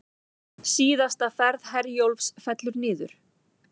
Síðasta ferð Herjólfs fellur niður